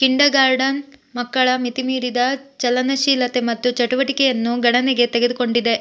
kindergarten ಮಕ್ಕಳ ಮಿತಿಮೀರಿದ ಚಲನಶೀಲತೆ ಮತ್ತು ಚಟುವಟಿಕೆಯನ್ನು ಗಣನೆಗೆ ತೆಗೆದುಕೊಂಡಿದೆ